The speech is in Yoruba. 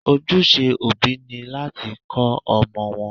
Ojúse òbí ni láti kọ́ ọmọ wọn.